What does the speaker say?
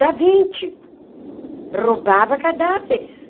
Da Vinci... roubava cadáveres.